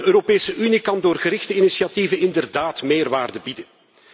De Europese Unie kan door gerichte initiatieven inderdaad meerwaarde bieden.